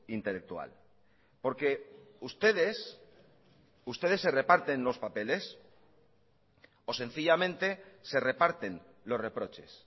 intelectual porque ustedes ustedes se reparten los papeles o sencillamente se reparten los reproches